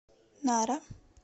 нара